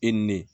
E ni ne